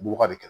Bɔgɔ de kɛ